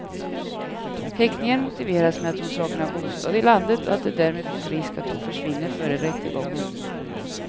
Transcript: Häktningen motiveras med att hon saknar bostad i landet och att det därmed finns risk att hon försvinner före rättegången.